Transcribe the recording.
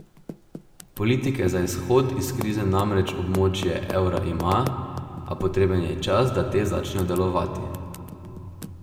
Politike za izhod iz krize namreč območje evra ima, a potreben je čas, da te začnejo delovati.